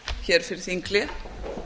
hér fyrir þinghlé það